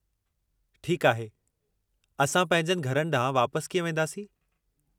ठीकु आहे, असां पंहिंजनि घरनि ॾांहुं वापसि कीअं वेंदासीं?